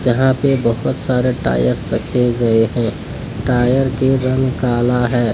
यहां पे बहुत सारे टायर्स रखे गए हैं टायर के रंग काला है।